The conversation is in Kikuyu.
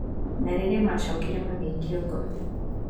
na rĩrĩa macokire magĩikio ngono